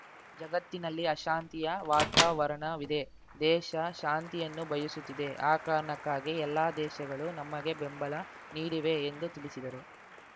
ಜಗತ್ತಿನಲ್ಲಿ ಅಶಾಂತಿಯ ವಾತಾವರಣವಿದೆ ದೇಶ ಶಾಂತಿಯನ್ನು ಬಯಸುತ್ತಿದೆ ಆ ಕಾರಣಕ್ಕಾಗಿ ಎಲ್ಲ ದೇಶಗಳು ನಮಗೆ ಬೆಂಬಲ ನೀಡಿವೆ ಎಂದು ತಿಳಿಸಿದರು